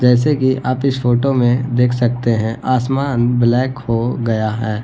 जैसे की आप इस फोटो में देख सकते है आसमान ब्लैक हो गया है।